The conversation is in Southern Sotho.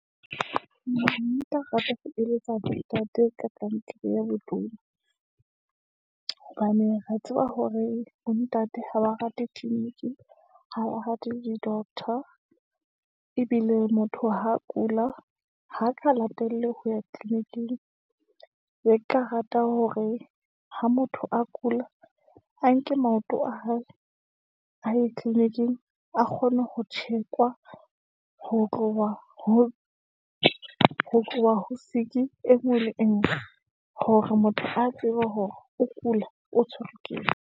Nka rata ho eletsa ntate ka kankere ya botona, hobane re ya tseba hore bo ntate, ha ba rate tleliniki , ha le rate di-doctor, ebile motho ha kula, ha ka latele ho ya tleliniking. Ne ke ka rata hore ha motho a kula, a nke maoto a hae a ye tleliniking, a kgone ho thekwa, ho tloha ho siki e ngwe le engwe, hore motho a tsebe hore o kula, o tshwerwe keng.